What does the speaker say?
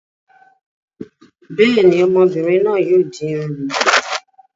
Bẹ́ẹ̀ ni, ọmọbìnrin náà yóò di irun rẹ̀.